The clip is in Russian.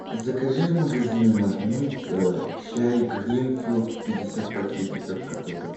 закажи в магазине магнит чай гринфилд пятьдесят пакетиков который